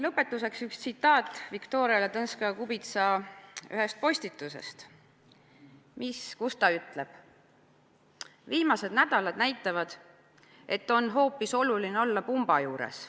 Lõpetuseks üks tsitaat Viktoria Ladõnskaja-Kubitsa ühest postitusest, kus ta ütleb: "Viimased nädalad näitavad, et on hoopis oluline olla "pumba" juures.